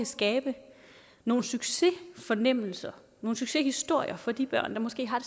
skabe nogle succesfornemmelser nogle succeshistorier for de børn der måske har